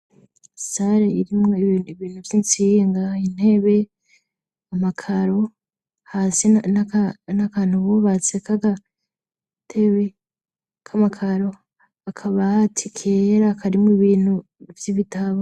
Sare irimwo ibintu vy'insinga intebe amakaro hasi n'akantu bubatse k'agatebe k'amakaro akabaati kera akarimwo ibintu vy'ibitabo.